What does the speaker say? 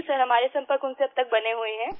जी sir हमारे संपर्क उनसे अब तक बने हुए हैं